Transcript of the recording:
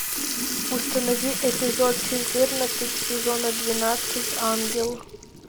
установи эпизод четырнадцать сезона двенадцать ангел